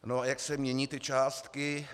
No a jak se mění ty částky?